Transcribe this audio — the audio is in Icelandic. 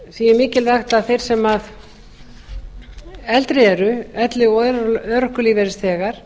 því er mikilvægt að þeir sem eldri eru elli og örorkulífeyrisþegar